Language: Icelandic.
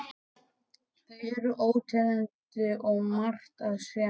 Þau eru óteljandi og margt að sjá.